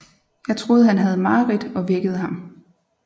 Jeg troede han havde mareridt og vækkede ham